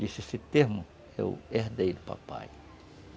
Disse, esse termo, eu herdei do papai.